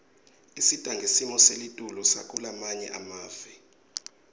isita ngesimo selitulu sakulamanye emave